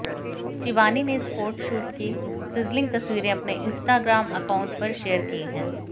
शिबानी ने इस फोटशूट की सिजलिंग तस्वीरें अपने इंस्टाग्राम एकाउंट पर शेयर की हैं